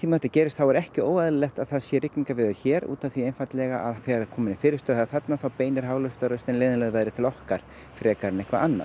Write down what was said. þetta gerist er ekki óeðlilegt að það sé rigningaveður hér út af því einfaldlega að þegar komin er fyrirstaða þarna þá beinir leiðinlegu veðri til okkar frekar en eitthvað annað